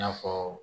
I n'a fɔ